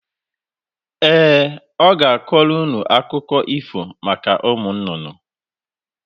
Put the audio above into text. Ee, ọ ga-akọrọ ụnụ akụkọ ífò maka ụmụnnụnnụ.